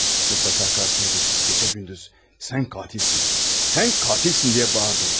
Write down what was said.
Mutlaka karşısına keçip geşə-gündüz "sən qatilsin, sən qatilsin" diyə bağırdınız.